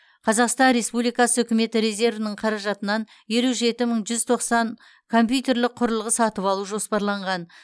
қазақстан республикасы үкіметі резервінің қаражатынан елу жеті мың жүз тоқсан компьютерлік құрылғы сатып алу жоспарланған